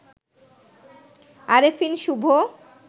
Arefin Shubho